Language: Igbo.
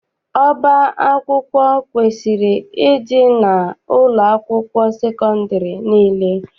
Ọba akwụkwọ kwesiri ịdị n'ụlọakwụkwọ sekọndịrị niile.